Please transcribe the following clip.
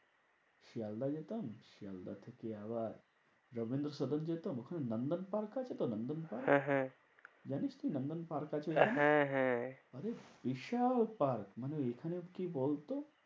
শিয়ালদাহ যেতাম শিয়ালদাহ থেকে আবার রবীন্দ্রসদন যেতাম ওখানে লন্ডন পার্ক আছে তো? London park. হ্যাঁ হ্যাঁ জানিস কি লন্ডন পার্ক আছেওখানে? হ্যাঁ হ্যাঁ মানে বিশাল পার্ক মানে এখানেও কি বলতো?